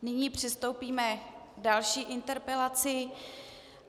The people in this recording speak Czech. Nyní přistoupíme k další interpelaci.